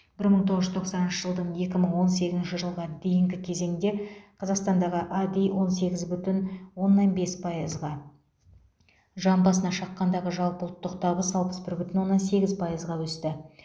бір мың тоғыз жүз тоқсаныншы жылдан екі мың он сегізінші жылға дейінгі кезеңде қазақстандағы ади он сегіз бүтін оннан бес пайызға жан басына шаққандағы жалпы ұлттық табыс алпыс бір бүтін оннан сегіз пайызға өсті